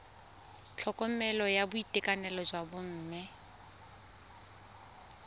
tlhokomelo ya boitekanelo jwa bomme